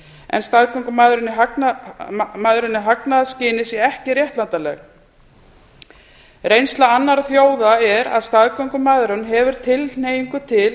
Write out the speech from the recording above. en staðgöngumæðrun í hagnaðarskyni sé ekki réttlætanleg reynsla annarra þjóða er að staðgöngmæðrun hefur tilhneigingu til